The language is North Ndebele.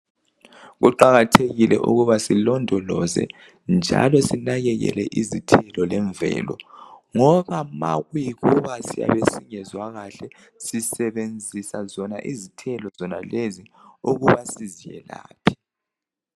Kuqakathekile ukuba silondoloze njalo sinakekele izithelo lemvelo ngoba ma kuyikuba siyabe singezwa kahle sisebenzisa zona izithelo zonalezi ukuba sizelaphe